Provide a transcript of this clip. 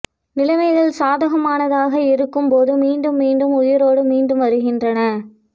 நிலைமைகள் சாதகமானதாக இருக்கும் போது மீண்டும் மீண்டும் உயிரோடு மீண்டும் வருகின்றன